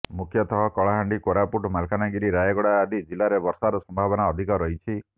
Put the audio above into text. ମୁଖ୍ୟତଃ କଳାହାଣ୍ଡି କୋରାପୁଟ ମାଲକାନାଗିରି ରାୟଗଡା ଆଦି ଜିଲାରେ ବର୍ଷାର ସମ୍ଭାବନା ଅଧିକ ରହିଛି